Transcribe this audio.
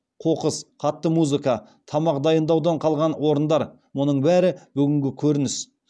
қоқыс қатты музыка тамақ дайындаудан қалған орындар мұның бәрі бүгінгі көрініс